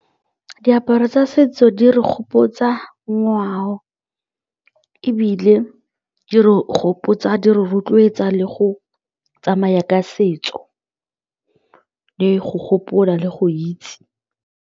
Diaparo tsa setso di re gopotsa ngwao ebile di re gopotsa di re rotloetsa le go tsamaya ka setso le go gopola le go itse.